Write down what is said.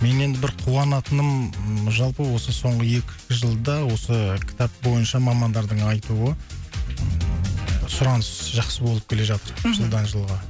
мен енді бір қуанатыным жалпы осы соңғы екі жылда осы кітап бойынша мамандардың айтуы ыыы сұраныс жақсы болып келе жатыр мхм жылдан жылға